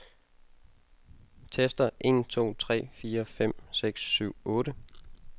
Tester en to tre fire fem seks syv otte.